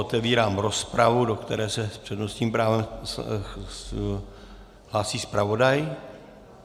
Otevírám rozpravu, do které se s přednostním právem hlásí zpravodaj.